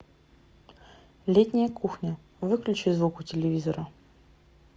летняя кухня выключи звук у телевизора